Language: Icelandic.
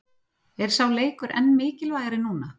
Er sá leikur enn mikilvægari núna?